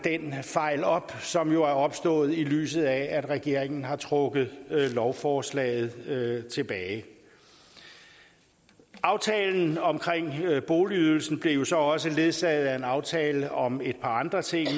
fejl op som jo er opstået i lyset af at regeringen har trukket lovforslaget tilbage aftalen omkring boligydelsen blev så også ledsaget af en aftale om et par andre ting